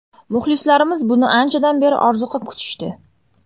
Muxlislarimiz buni anchadan beri orziqib kutishdi.